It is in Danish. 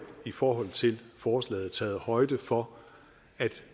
i forhold til forslaget er taget højde for at